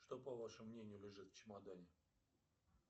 что по вашему мнению лежит в чемодане